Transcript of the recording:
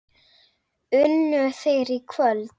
Unnu þeir í kvöld?